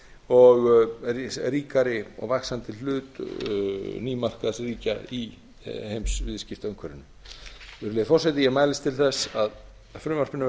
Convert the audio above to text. og ríkari og vaxandi hlut nýmarkaðsríkja í heimsviðskiptaumhverfinu virðulegi forseti ég mælist til þess að frumvarpinu verði að